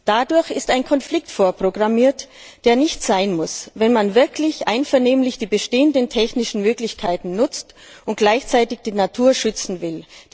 Dadurch ist ein Konflikt vorprogrammiert, der nicht sein muss, wenn man wirklich einvernehmlich die bestehenden technischen Möglichkeiten nutzt und gleichzeitig die Natur schützen will.